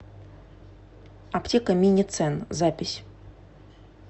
аптека миницен запись